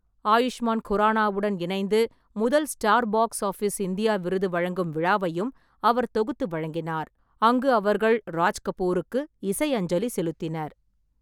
ஆயுஷ்மான் குரானாவுடன் இணைந்து முதல் ஸ்டார் பாக்ஸ் ஆஃபிஸ் இந்தியா விருது வழங்கும் விழாவையும் அவர் தொகுத்து வழங்கினார், அங்கு அவர்கள் ராஜ் கபூருக்கு இசை அஞ்சலி செலுத்தினர்.